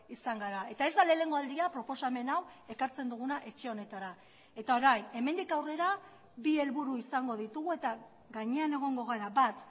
izan gara eta ez da lehenengo aldia proposamen hau ekartzen duguna etxe honetara eta orain hemendik aurrera bi helburu izango ditugu eta gainean egongo gara bat